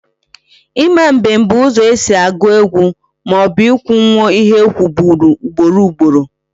Ima mbem bụ ụzọ esi agụ egwu maọbụ ị kwunwo ihe e kwuburu ugboro ugboro